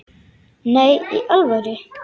Nei, í alvöru.